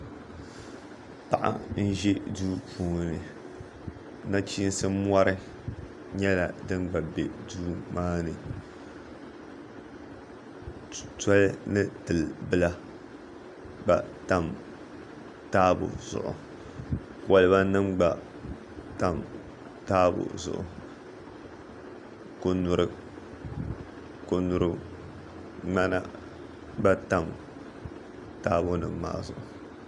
Paɣa n-ʒi duu puuni nachiinsi mɔri nyɛla din gba be duu maani toli ni til' bila gba tam taabo zuɣu kɔlibanima gba tam taabo zuɣu konyuriŋmana gba tam taabonima maa zuɣu